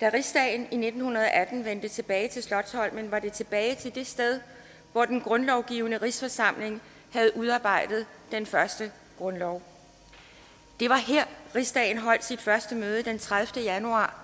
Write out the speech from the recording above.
da rigsdagen i nitten atten vendte tilbage til slotsholmen var det tilbage til det sted hvor den grundlovgivende rigsforsamling havde udarbejdet den første grundlov det var her rigsdagen holdt sit første møde den tredivete januar